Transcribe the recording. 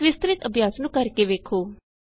ਇਸ ਵਿਸਤ੍ਰਿਤ ਅਭਿਆਸ ਨੂੰ ਕਰ ਕੇ ਵੇਖੋ